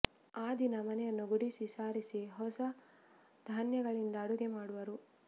ಆ ದಿನ ಮನೆಯನ್ನು ಗುಡಿಸಿ ಸಾರಿಸಿ ಹೊಸ ಧಾನ್ಯಗಳಿಂದ ಅಡುಗೆ ಮಾಡುವರು